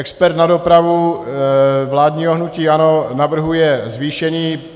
Expert na dopravu vládního hnutí ANO navrhuje zvýšení.